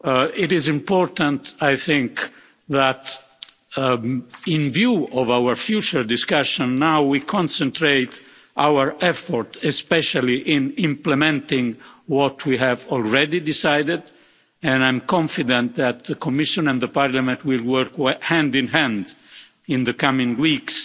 It is important, I think, that in view of our future discussion, we now concentrate our efforts primarily on implementing what we have already decided, and I'm confident that the Commission and Parliament will work hand in hand in the coming weeks